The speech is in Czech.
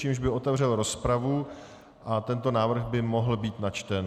Tím by otevřel rozpravu a tento návrh by mohl být načten.